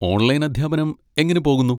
Online അധ്യാപനം എങ്ങനെ പോകുന്നു?